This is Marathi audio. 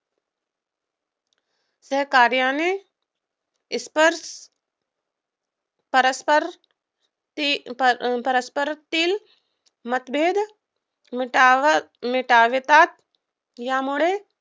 या कार्याने परस्परांतील मतभेद मिटवतात. यामुळे